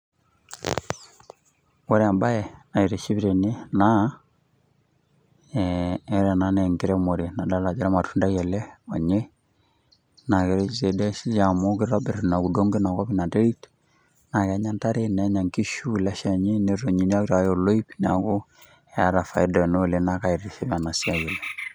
Ore ebae naitiship tene, naa ore ena naa enkiremore nadol ajo olmatundai ele onyaw, naa keretisho, amu kitobir Ina terit eina kop, naa Kenya nkishu, nenya nkishu ele Shani, netonieki aitaas olopiro, neeku eeta faida ena oleng, naa kaitiship ena siai oleng.